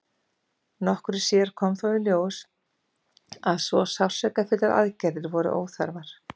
nokkru síðar kom þó í ljós að svo sársaukafullar aðgerðir voru óþarfar